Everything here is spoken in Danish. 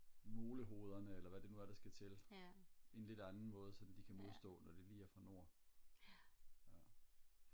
molehovederne eller hvad det nu er der skal til en lidt anden måde så de kan modstå det når det lige er fra nord